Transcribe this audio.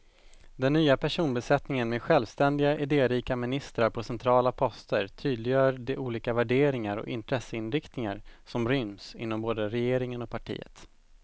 Den nya personbesättningen med självständiga, idérika ministrar på centrala poster tydliggör de olika värderingar och intresseinriktningar som ryms inom både regeringen och partiet.